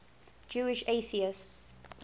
jewish atheists